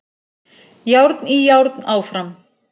Járn í járn áfram